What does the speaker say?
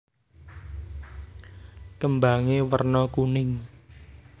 Kembangé werna kuning